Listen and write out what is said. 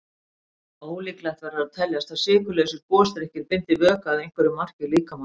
Ólíklegt verður að teljast að sykurlausir gosdrykkir bindi vökva að einhverju marki í líkamanum.